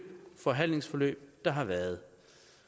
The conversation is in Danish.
forhandlingsforløb der har været